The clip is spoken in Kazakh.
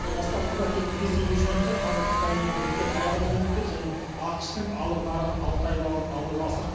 бастапқыда тек ресейге жөнелтсе қазір қытай мен біріккен араб әмірліктері және ақш тың алып нарығы алтай балын алуға асық